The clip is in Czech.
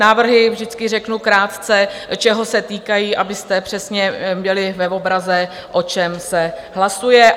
Návrhy vždycky řeknu krátce, čeho se týkají, abyste přesně byli v obraze, o čem se hlasuje.